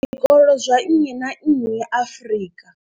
zwikolo zwa nnyi na nnyi Afrika.